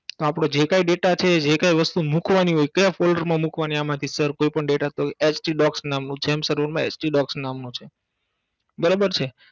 આપનો જે કાઇ data છે જે કાઇ વસ્તુ મૂકવાની હોય કયા folder માં મૂકવાની આમાંથી સર કોઈ પણ Data HD docs નામનું jump server માં HD docs નામનું છે